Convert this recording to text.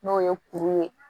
N'o ye kuru ye